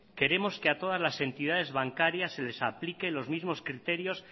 queremos que a todas las entidades bancarias se les aplique los mismos criterios